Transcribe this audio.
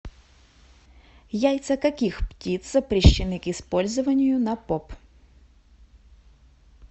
яйца каких птиц запрещены к использованию на поп